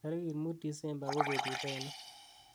tagit muut disembe ko betut ainon